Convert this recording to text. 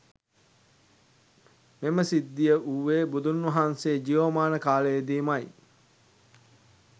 මෙම සිද්ධිය වූවේ බුදුන් වහන්සේ ජීවමාන කාලයේදීමයි.